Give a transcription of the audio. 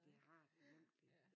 Det har det jo egentlig